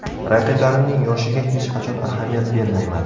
Raqiblarimning yoshiga hech qachon ahamiyat bermayman.